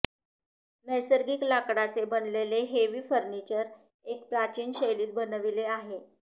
नैसर्गिक लाकडाचे बनलेले हेवी फर्निचर एक प्राचीन शैलीत बनविले आहे